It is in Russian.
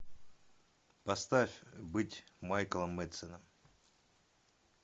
поставь быть майклом мэдсеном